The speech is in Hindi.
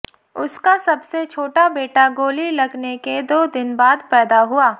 उसका सबसे छोटा बेटा गोली लगने के दो दिन बाद पैदा हुआ